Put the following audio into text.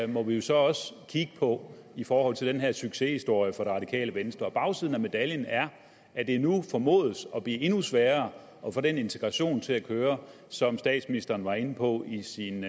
må vi jo så også kigge på i forhold til den her succeshistorie for det radikale venstre bagsiden af medaljen er at det nu formodes at blive endnu sværere at få den integration til at køre som statsministeren var inde på i sin